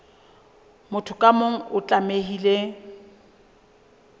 motho ka mong o tlamehile